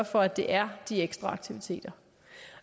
for at det er de ekstra aktiviteter